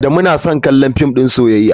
Adamu son kallon film din soyayya.